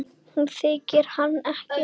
Hún þekkir hann ekki.